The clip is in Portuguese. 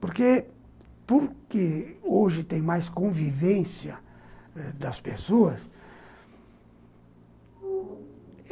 Porque porque hoje tem mais convivência das pessoas.